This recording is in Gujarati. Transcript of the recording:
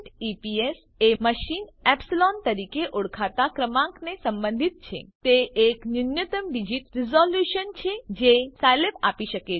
eps એ માચીને એપ્સિલોન તરીકે ઓળખાતા ક્રમાંકને સંબંધિત છે તે એક ન્યુનત્તમ ડીજીટ રીઝોલ્યુશન છે જે સાયલેબ આપી શકે છે